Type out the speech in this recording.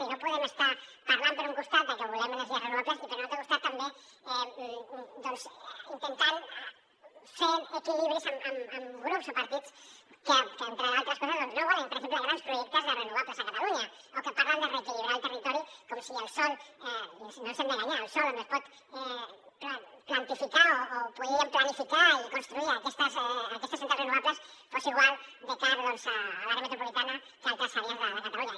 i no podem estar parlant per un costat de que volem energies renovables i per un altre costat també intentant fer equilibris amb grups o partits que entre d’altres coses doncs no volen per exemple grans projectes de renovables a catalunya o que parlen de reequilibrar el territori com si el sòl no ens hem d’enganyar on es pot plantificar o podríem planificar i construir aquestes centrals renovables fos igual de car a l’àrea metropolitana que a altres àrees de catalunya